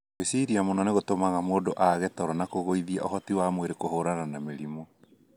Gwiciria mũno nĩ gũtumaga mũndu aage toro na kũgũithia ũhoti wa mwĩrĩ kũhũrana na mĩrimũ.